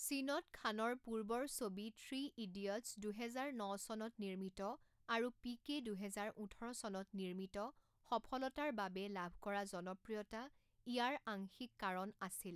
চীনত খানৰ পূৰ্বৰ ছবি থ্ৰী ইডিয়টছ দুহেজাৰ ন চনত নিৰ্মিত আৰু পিকে দুহেজাৰ ওঠৰ চনত নিৰ্মিত সফলতাৰ বাবে লাভ কৰা জনপ্ৰিয়তা ইয়াৰ আংশিক কাৰণ আছিল।